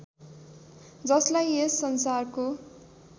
जसलाई यस संसारको